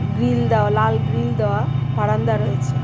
Grill দেওয়া লাল grill দেওয়া বারান্দা রয়েছে.